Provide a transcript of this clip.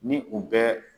Ni u bɛ